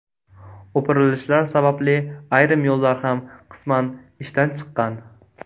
O‘pirilishlar sababli ayrim yo‘llar ham qisman ishdan chiqqan.